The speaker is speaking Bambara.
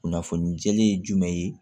Kunnafoni jɛlen ye jumɛn ye